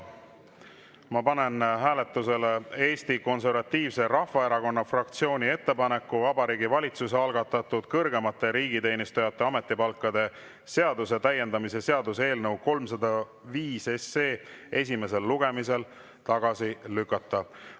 Ma panen hääletusele Eesti Konservatiivse Rahvaerakonna fraktsiooni ettepaneku Vabariigi Valitsuse algatatud kõrgemate riigiteenijate ametipalkade seaduse täiendamise seaduse eelnõu 305 esimesel lugemisel tagasi lükata.